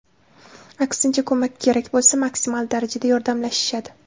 Aksincha, ko‘mak kerak bo‘lsa, maksimal darajada yordamlashishadi.